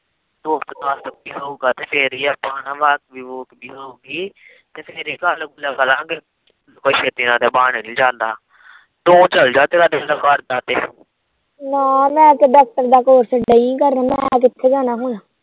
ਨਾ ਮੈਂ ਡਾਕਟਰ ਦਾ ਕੋਰਸ ਨਹੀਂ ਕਰਨਾ ਮੈਂ ਕਿੱਥੇ ਜਾਣਾ ਹੁਣ